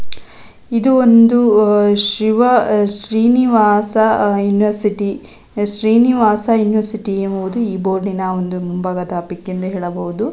ಇದು ಒಂದು ಅಹ್ ಶಿವ ಶ್ರೀನಿವಾಸ ಯೂನಿವರ್ಸಿಟಿ ಶ್ರೀನಿವಾಸ ಯೂನಿವರ್ಸಿಟಿ ಎಂಬುದು ಈ ಬೋರ್ಡಿನ ಒಂದು ಮುಂಬಾಗದ ಪಿಕ್ ಇಂದ ಹೇಳಬಹುದು.